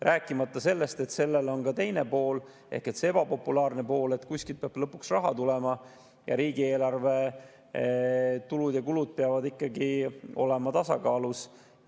Rääkimata sellest, et sellel on ka teine pool, ebapopulaarne pool: kuskilt peab raha lõpuks tulema ning riigieelarve tulud ja kulud peavad ikkagi olema tasakaalus.